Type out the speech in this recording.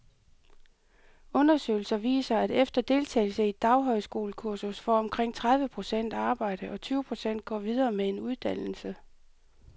Undersøgelser viser, at efter deltagelse i et daghøjskolekursus får omkring tredive procent arbejde, og tyve procent går videre med en uddannelse.